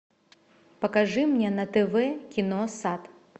покажи мне на тв кино сад